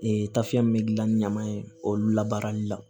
Ee tafe min be gilan ni ɲaman ye olu labaarali la